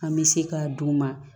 An bɛ se k'a d'u ma